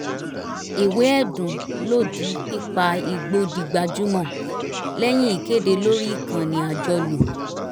ìwé ẹ̀dùn lòdì pípa igbó di gbajúmọ̀ lẹ́yìn ìkéde lórí ìkànnì àjọlò